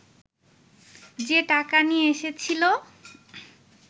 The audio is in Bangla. যে টাকা নিয়ে এসেছিলো